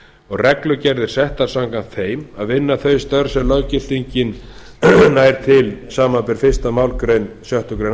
og reglugerðir settar samkvæmt þeim að vinna þau störf sem löggildingin nær til samanber fyrstu málsgrein sjöttu greinar